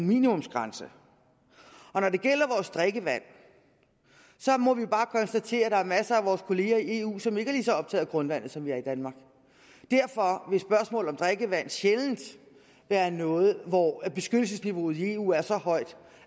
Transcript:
minimumsgrænser når det gælder drikkevand må vi bare konstatere at der er masser af vores kolleger i eu som ikke er lige så optaget af grundvandet som vi er i danmark derfor vil spørgsmålet om drikkevand sjældent være noget hvor beskyttelsesniveauet i eu er så højt